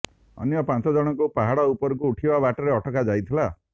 ଅନ୍ୟ ପାଞ୍ଚ ଜଣଙ୍କୁ ପାହାଡ଼ ଉପରକୁ ଉଠିବା ବାଟରେ ଅଟକା ଯାଇଥିଲା